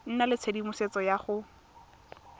nna le tshedimosetso ya go